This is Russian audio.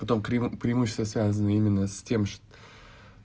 потом преимущество связано именно с тем же